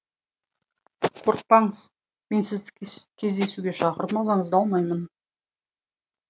қорықпаңыз мен сізді кездесуге шақырып мазаңызды алмаймын